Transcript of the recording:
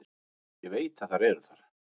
Ég veit að þær eru þar.